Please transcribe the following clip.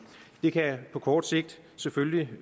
det kan på kort sigt selvfølgelig